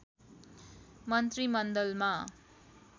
मन्त्रीमण्डलमा